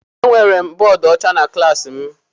Enwere m bọọdụ ọcha na klaasị m.